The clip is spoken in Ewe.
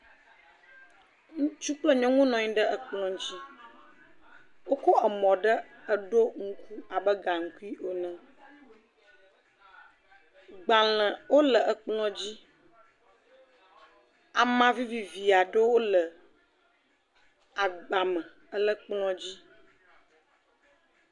Ŋutsu kple nyɔnu nɔ ayi ɖe ekplɔ̃ ŋtsi. Wokɔ emɔ̃ ɖe ɖo ŋku abe gaŋkui ene. Gbalẽwo le ekplɔ̃dzi. Amã vivivi aɖewo le agbame le kplɔ̃dzi.